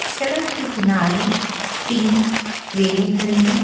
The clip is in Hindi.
सड़क के किनारे तीन क्रेनें खड़ी हैं।